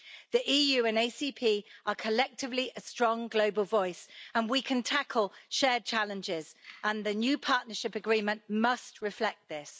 The EU and the ACP are collectively a strong global voice and we can tackle shared challenges, and the new Partnership Agreement must reflect this.